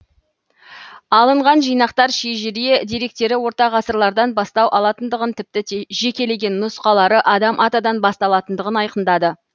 алынған жинақтар шежіре деректері орта ғасырлардан бастау алатындығын тіпті жекелеген нұсқалары адам атадан басталатындығын айқындады